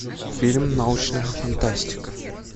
фильм научная фантастика